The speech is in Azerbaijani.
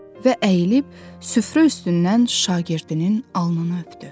Və əyilib süfrə üstündən şagirdinin alnını öpdü.